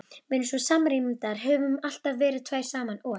Við erum svo samrýmdar, höfum alltaf verið tvær saman og.